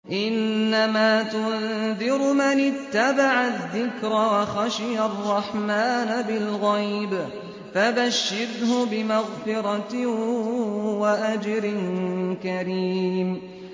إِنَّمَا تُنذِرُ مَنِ اتَّبَعَ الذِّكْرَ وَخَشِيَ الرَّحْمَٰنَ بِالْغَيْبِ ۖ فَبَشِّرْهُ بِمَغْفِرَةٍ وَأَجْرٍ كَرِيمٍ